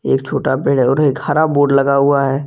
एक छोटा पेड़ है और एक हरा बोर्ड लगा हुआ है।